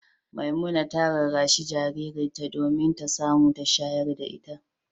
Memunat ta rarrashi jaririyarta domin ta samu ta shayar da ita.